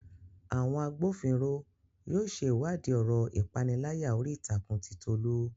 Àwọn agbófinró yóò ṣe ìwádìí ọ̀rọ̀ ìpániláyà orí ìtàkùn ti Tolu